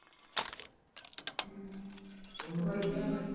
ਹੂ ਵਧੀਆ ਵੀ।